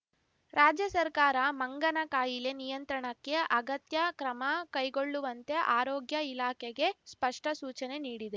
ರಾಜ್ಯ ಸರ್ಕಾರ ಮಂಗನ ಕಾಯಿಲೆ ನಿಯಂತ್ರಣಕ್ಕೆ ಅಗತ್ಯ ಕ್ರಮ ಕೈಗೊಳ್ಳುವಂತೆ ಆರೋಗ್ಯ ಇಲಾಖೆಗೆ ಸ್ಪಷ್ಟಸೂಚನೆ ನೀಡಿದೆ